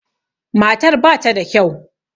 Matar ba ta da kyau.